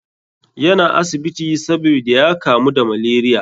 Yana asibiti sabida ya kamu da malaria.